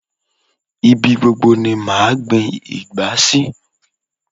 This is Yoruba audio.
Ibi gbobgo ni màá gbin ìgbá sí